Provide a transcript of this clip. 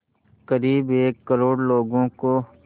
क़रीब एक करोड़ लोगों को